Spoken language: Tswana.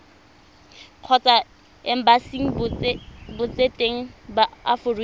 kgotsa embasing botseteng ba aforika